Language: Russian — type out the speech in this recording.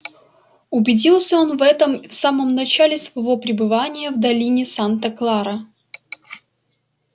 убедился он в этом в самом начале своего пребывания в долине санта клара